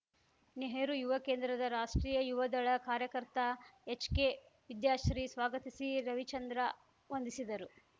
ನೆಹರು ಯುವ ಕೇಂದ್ರದ ರಾಷ್ಟ್ರೀಯ ಯುವದಳ ಕಾರ್ಯಕರ್ತ ಎಚ್‌ಕೆ ವಿದ್ಯಾಶ್ರೀ ಸ್ವಾಗತಿಸಿ ರವಿಚಂದ್ರ ವಂದಿಸಿದರು